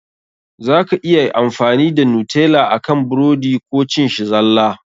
Za ka iya amfani da Nutella akan burodi Koh cin shi zalla.